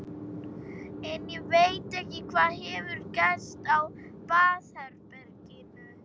En ég veit ekki hvað hefur gerst á baðherberginu.